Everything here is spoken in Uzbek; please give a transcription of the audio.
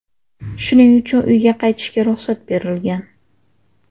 Shuning uchun uyga qaytishga ruxsat berilgan.